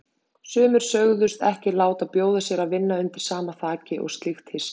Sumir sögðust ekki láta bjóða sér að vinna undir sama þaki og slíkt hyski.